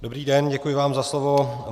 Dobrý den, děkuji vám za slovo.